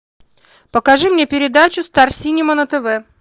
покажи мне передачу стар синема на тв